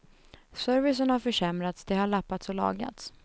Servicen har försämrats, det har lappats och lagats.